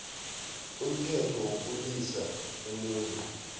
umthetho wokulilisa umuntu